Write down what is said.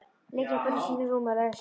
Liggjum hvor í sínu rúmi og lesum.